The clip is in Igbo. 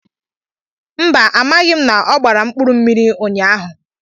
Mba, amaghị m na ọ gbara mkpụrụmmiri ụnyahụ.